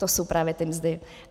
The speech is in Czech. To jsou právě ty mzdy.